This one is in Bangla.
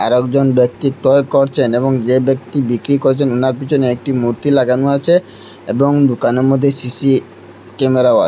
আরেকজন ব্যক্তি টয় করচেন এবং যে ব্যক্তি বিক্রি করচেন ওনার পিছনে একটি মূর্তি লাগানো আছে এবং দুকানের মদ্যে সি_সি ক্যামেরাও আ--